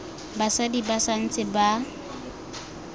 basadi ba sa ntse ba